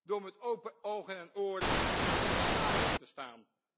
Door met open ogen en oren in onze samenleving te staan.